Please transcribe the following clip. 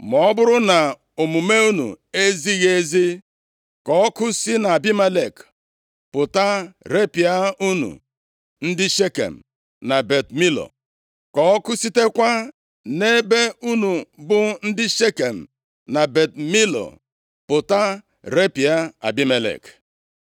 Ma ọ bụrụ na omume unu ezighị ezi, ka ọkụ si nʼAbimelek pụta repịa unu, ndị Shekem na Bet Milo, ka ọkụ sitekwa nʼebe unu bụ ndị Shekem na Bet Milo, pụta repịa Abimelek.”